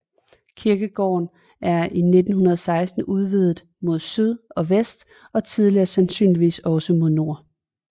Kirkegården er i 1916 udvidet mod syd og vest og tidligere sandsynligvis også mod nord